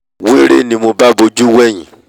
wéré ni mo bá bojú wẹ̀hìn